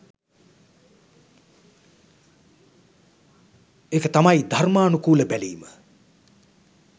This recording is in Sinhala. එක තමයි ධර්මානුකුල බැලීම.